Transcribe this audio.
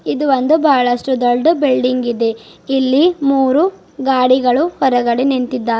ಇದೊಂದು ಬಹಳಷ್ಟು ದೊಡ್ಡ ಬಿಲ್ಡಿಂಗ್ ಇದೆ ಇಲ್ಲಿ ಮೂರು ಗಾಡಿಗಳು ಹೊರಗಡೆ ನಿಂತಿದ್ದಾರೆ.